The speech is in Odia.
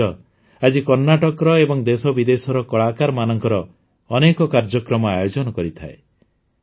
ଏହି ମଞ୍ଚ ଆଜି କର୍ଣ୍ଣାଟକର ଏବଂ ଦେଶବିଦେଶର କଳାକାରମାନଙ୍କର ଅନେକ କାର୍ଯ୍ୟକ୍ରମ ଆୟୋଜନ କରିଥାଏ